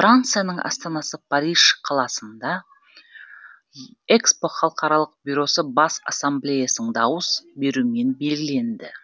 францияның астанасы париж қаласында ехро халықаралық бюросы бас ассамблеясының дауыс беруімен белгіленді